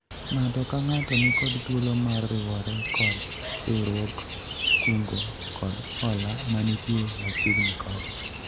ng'ato ka ng'ato nikod thuolo mar riwore kod riwruog kungo kod hola manitie machiegni kode